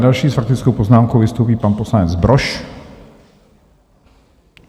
Další s faktickou poznámkou vystoupí pan poslanec Brož.